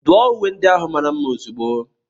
Duọ uwe ndị ahụ mara mma ozugbo!